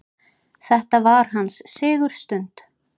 Þetta var hans sigurstund.